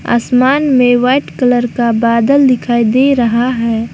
आसमान में white colour का बादल दिखाई दे रहा है।